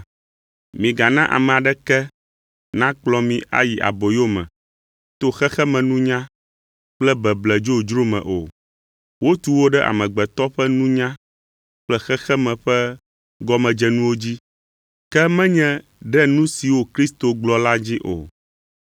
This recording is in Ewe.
Migana ame aɖeke nakplɔ mi ayi aboyo me to xexemenunya kple beble dzodzro me o. Wotu wo ɖe amegbetɔ ƒe nunya kple xexeme ƒe gɔmedzenuwo dzi, ke menye ɖe nu siwo Kristo gblɔ dzi o.